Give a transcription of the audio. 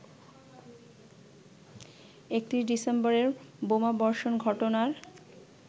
৩১ ডিসেম্বরের বোমাবর্ষণ ঘটনার